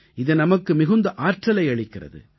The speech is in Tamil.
இது நமக்கு மிகுந்த ஆற்றலை அளிக்கிறது